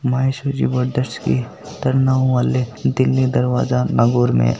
Maheshwari brothers की तरनाऊ वाले दिल्ली दरवाजा नागौर में।